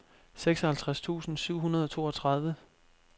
seksoghalvtreds tusind syv hundrede og toogtredive